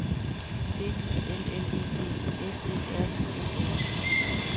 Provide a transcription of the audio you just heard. B I L L E D S E R I E R